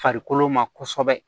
Farikolo ma kosɛbɛ